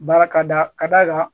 Baara ka da ka d'a kan